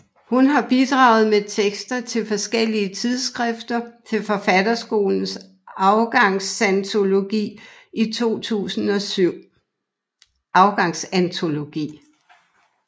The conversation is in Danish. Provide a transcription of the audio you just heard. Hun har bidraget med tekster til forskellige tidsskrifter og til Forfatterskolens Afgangsantologi 2007